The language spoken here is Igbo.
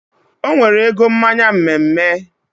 Onwere ego mmanya mme mme